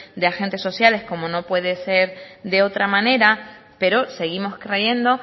de agentes sociales como no puede ser de otra manera pero seguimos creyendo